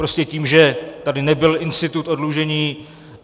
Prostě tím, že tady nebyl institut oddlužení.